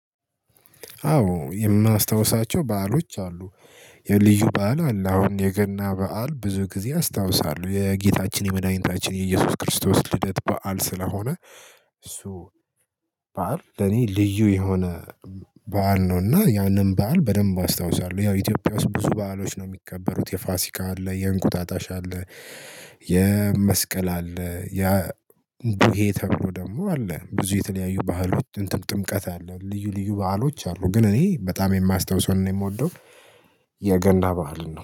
አዎ የማስታውሳቸው በዓሎች አሉ። የልዩ በዓል አለ። አሁን የገና በዓል ብዙ ጊዜ አስታውሳለሁ የጌታችን የመድኃኒታችን የኢየሱስ ክርስቶስ ልደት በዓል ስለሆነ እሱ በዓል ለኔ ልዩ የሆነ በዓል ነው። እና ያንን በዓል በደንብ አስታውሳለሁ ያው ኢትዮጵያ ውስጥ ብዙ በዓሎች ነው የሚከበሩት የፋሲካ አለ የእንቁጣጣሽ አለ። የመስቀል አለ ያ ይሄ ተብሎ ደግሞ አለ ብዙ የተለያዩ ባህሎች ጥምቀት አለ ልዩ ልዩ ባህሎች አሉ። ግን እኔ በጣም የማስታውሰውን ነው የምወደው የገና ባዓልን ነው